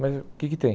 Mas o que que tem?